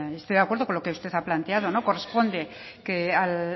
estoy de acuerdo con lo que usted ha planteado no corresponde al